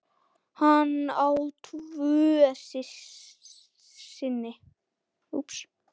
Hann á tvo syni.